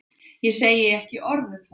Ég segi ekki orð um það.